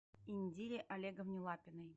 индире олеговне лапиной